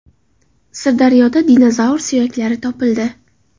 Sirdaryoda dinozavr suyaklari topildi.